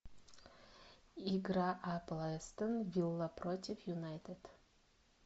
игра апл астон вилла против юнайтед